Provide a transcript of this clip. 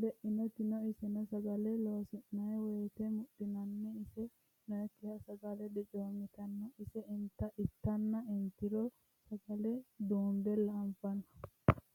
leinokkitti noo isenno sagale loosi'nanni woyiitte mudhiinnanni ise noyiikkiha sagale dicoommittanno ise ittanna inttiro sagale duunbella anfanni